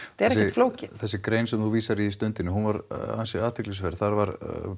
flókið þessi grein sem þú vísar í Stundinni hún var ansi athyglisverð þar var